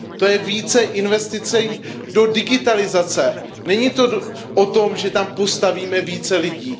To je více investic do digitalizace, není to o tom, že tam postavíme více lidí.